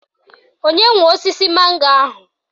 Onye nwe osisi mango ahụ?